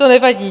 To nevadí.